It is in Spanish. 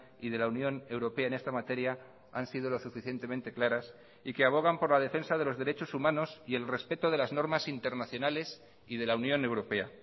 y de la unión europea en esta materia han sido lo suficientemente claras y que abogan por la defensa de los derechos humanos y el respeto de las normas internacionales y de la unión europea